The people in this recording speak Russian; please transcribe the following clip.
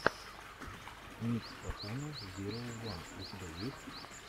микс пахана зироу ван у тебя есть